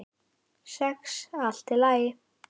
Sex allt í lagi.